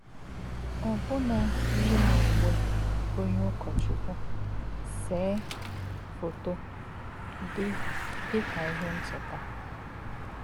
Ọbụna yí m úwè onye ụ̀kọ́chukwu, sée fótò dị dị ka ihe ncheta.